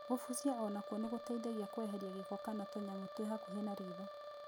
Gũbucia onakuo nĩ ngũteithagia kweheria ngĩko kana tũnyamũ twĩ hakũhĩ na ritho.